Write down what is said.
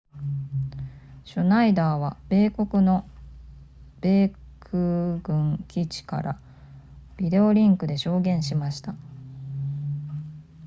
シュナイダーは母国の米空軍基地からビデオリンクで証言しました